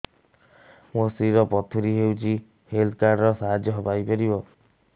ମୋ ସ୍ତ୍ରୀ ର ପଥୁରୀ ହେଇଚି ହେଲ୍ଥ କାର୍ଡ ର ସାହାଯ୍ୟ ପାଇପାରିବି